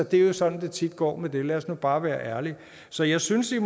det er jo sådan det tit går med det lad os nu bare være ærlige så jeg synes at